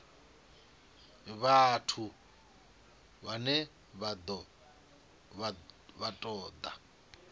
vhathu vhane vha ṱo ḓa